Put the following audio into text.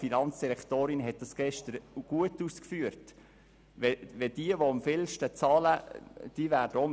Die Finanzdirektorin hat das gestern gut ausgeführt, und das ist auch richtig.